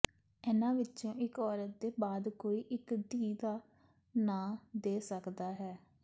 ਇਨ੍ਹਾਂ ਵਿੱਚੋਂ ਇੱਕ ਔਰਤ ਦੇ ਬਾਅਦ ਕੋਈ ਇੱਕ ਧੀ ਦਾ ਨਾਂ ਦੇ ਸਕਦਾ ਹੈ